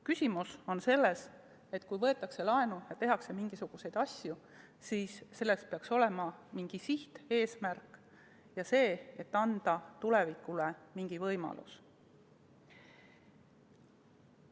Küsimus on selles, et kui võetakse laenu ja tehakse mingisuguseid asju, siis peaks olema mingi siht, eesmärk, et anda tulevikule mingi võimalus.